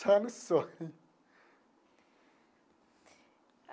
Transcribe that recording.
Só no sonho.